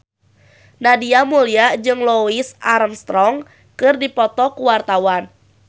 Nadia Mulya jeung Louis Armstrong keur dipoto ku wartawan